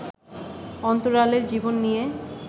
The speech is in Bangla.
অন্তরালের জীবন নিয়ে